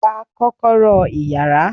Gba kọ́kọ́rọ́ iyàrá!